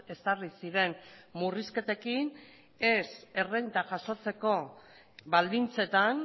ezarri ziren murrizketekin ez errenta jasotzeko baldintzetan